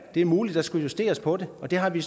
det er muligt der skulle justeres på den og det har vi